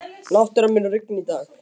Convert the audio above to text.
Náttúra, mun rigna í dag?